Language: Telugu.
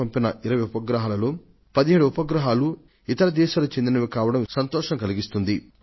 భారతదేశం నుండి ప్రయోగించిన 20 ఉపగ్రహాలలో 17 ఉపగ్రహాలు ఇతర దేశాలకు చెందినవి కావడం కూడా సంతోషాన్నిచ్చే విషయమే